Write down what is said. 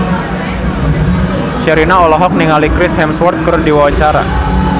Sherina olohok ningali Chris Hemsworth keur diwawancara